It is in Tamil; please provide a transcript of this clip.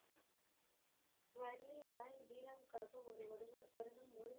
கன்வீர் ராய் வீராவுக்காக ஒரு வருடம் ஒரு வருடம் முழு